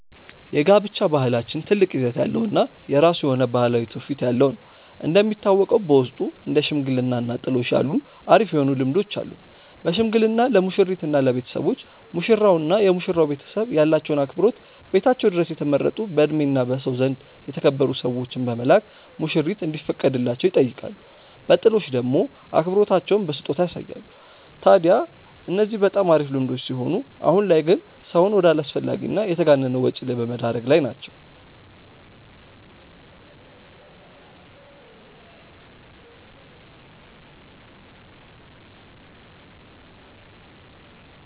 የጋብቻ ባህላችን ትልቅ ይዘት ያለው እና የራሱ የሆነ ባህላዊ ትውፊት ያለው ነው። እንደሚታወቀው በውስጡ እንደ ሽምግልና እና ጥሎሽ ያሉ አሪፍ የሆኑ ልምዶች አሉን። በሽምግልና ለሙሽሪት እና ለቤተሰቦች፤ ሙሽራው እና የመሽራው ቤተሰብ ያላቸውን አክብሮት ቤታቸው ድረስ የተመረጡ በእድሜ እና በሰው ዘንድ የተከበሩ ሰዎችን በመላክ ሙሽሪት እንዲፈቀድላቸው ይጠይቃሉ። በጥሎሽ ደሞ አክብሮታቸውን በስጦታ ያሳያሉ። ታድያ እነዚህ በጣም አሪፍ ልምዶች ሲሆኑ አሁን ላይ ግን ሰውን ወደ አላስፈላጊ እና የተጋነነ ወጪ ላይ በመደረግ ላይ ናቸው።